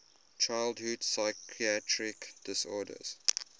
childhood psychiatric disorders